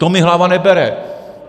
To mi hlava nebere.